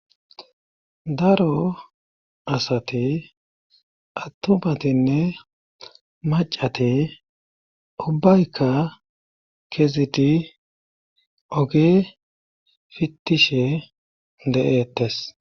daro asati attumatinne macate ubbaykka kezidi oge fittishe de'eettes